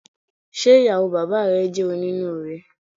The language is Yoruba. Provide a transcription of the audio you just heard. Ṣe ìyàwó bàbáà rẹ jẹ oninuure?